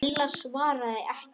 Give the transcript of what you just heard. Lilla svaraði ekki.